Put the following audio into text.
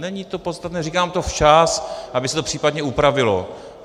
Není to podstatné, říkám to včas, aby se to případně upravilo.